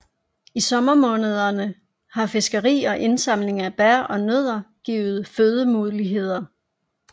I sommermånederne har fiskeri og indsamling af bær og nødder givet fødemuligheder